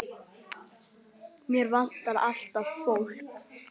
Hér vantar alltaf fólk.